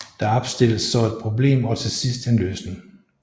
Der opstilles så et problem og til sidst en løsning